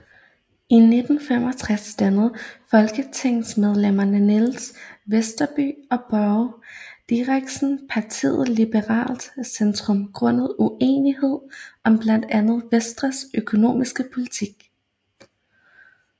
I 1965 dannede folketingsmedlemmerne Niels Westerby og Børge Diderichsen partiet Liberalt Centrum grundet uenighed om blandt andet Venstres økonomiske politik